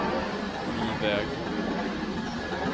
ny väg